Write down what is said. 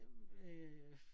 Øh